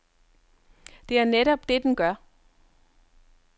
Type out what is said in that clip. Det er netop det, den gør.